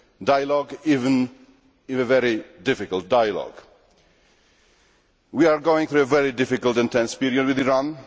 Dialogue, even if a very difficult dialogue. We are going through a very difficult and tense period with Iran.